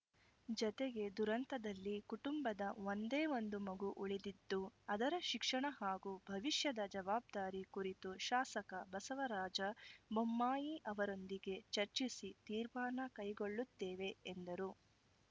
ಜತೆಗೆ ದುರಂತದಲ್ಲಿ ಕುಟುಂಬದ ಒಂದೇ ಒಂದು ಮಗು ಉಳಿದಿದ್ದು ಅದರ ಶಿಕ್ಷಣ ಹಾಗೂ ಭವಿಷ್ಯದ ಜವಾಬ್ದಾರಿ ಕುರಿತು ಶಾಸಕ ಬಸವರಾಜ ಬೊಮ್ಮಾಯಿ ಅವರೊಂದಿಗೆ ಚರ್ಚಿಸಿ ತೀರ್ಮಾನ ಕೈಗೊಳ್ಳುತ್ತೇವೆ ಎಂದರು